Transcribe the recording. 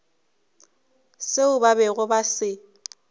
seo ba bego ba se